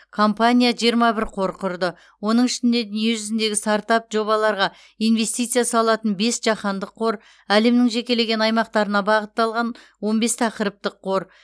компания жиырма бір қор құрды оның ішінде дүниежүзіндегі стартап жобаларға инвестиция салатын бес жаһандық қор әлемнің жекелеген аймақтарына бағытталған он бес тақырыптық қор